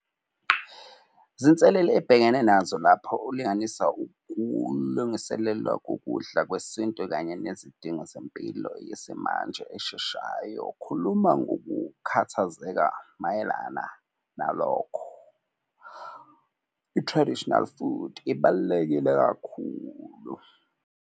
Zinselele ebhekene nazo lapho ulinganisa ukulungiselelwa kokudla kwesintu kanye nezidingo zempilo yesimanje esheshayo. Khuluma ngokukhathazeka mayelana nalokho. I-traditional food ibalulekile kakhulu.